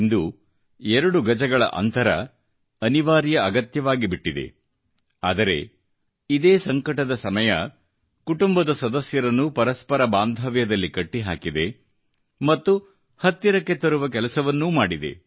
ಇಂದು ಎರಡು ಗಜಗಳ ಅಂತರವು ಅನಿವಾರ್ಯ ಅಗತ್ಯವಾಗಿಬಿಟ್ಟಿದೆ ಆದರೆ ಇದೇ ಸಂಕಟದ ಸಮಯವು ಕುಟುಂಬದ ಸದಸ್ಯರನ್ನು ಪರಸ್ಪರ ಬಾಂಧವ್ಯದಲ್ಲಿ ಕಟ್ಟಿಹಾಕಿದೆ ಮತ್ತು ಹತ್ತಿರಕ್ಕೆ ತರುವ ಕೆಲಸವನ್ನೂ ಮಾಡಿದೆ